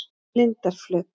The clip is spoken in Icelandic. Lindarflöt